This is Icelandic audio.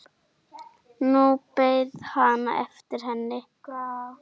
Nú beið hann eftir henni.